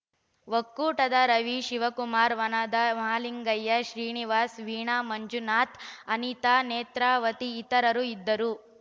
ಒಕ್ಕೂಟದ ರವಿ ಶಿವಕುಮಾರ ವನದಾ ಮಹಲಿಂಗಯ್ಯ ಶ್ರೀನಿವಾಸ ವೀಣಾ ಮಂಜುನಾಥ್ ಅನಿತಾ ನೇತ್ರಾವತಿ ಇತರರು ಇದ್ದರು